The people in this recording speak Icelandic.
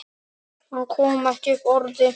Hann kom ekki upp orði.